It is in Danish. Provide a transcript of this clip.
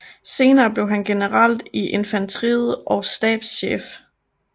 Senere blev han general i infanteriet og stabschef